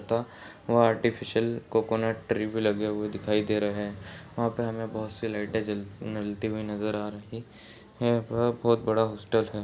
वहाँ artificial coconut tree भी लगे हुए दिखाई दे रहे है वहाँ पर बहुत सारी लाइटे जलते हुए नजर आ रही हैं और बहुत बड़ा हॉस्टल है।